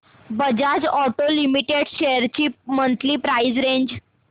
Bajaj Auto Limited shares ची monthly price range